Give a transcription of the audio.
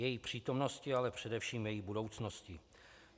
Její přítomnosti, ale především její budoucnosti.